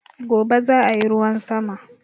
Gobe zaa yi ruwan sama